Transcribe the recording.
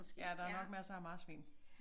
Ja der er nok masser af marsvin